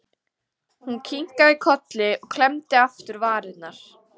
Hún kinkaði kolli og klemmdi aftur varirnar.